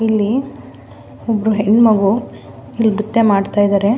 ಇಲ್ಲಿ ಒಬ್ರು ಹೆಣ್ಣು ಮಗು ಇಲ್ಲಿ ನ್ರತ್ಯ ಮಾಡ್ತಾ ಇದ್ದಾರೆ.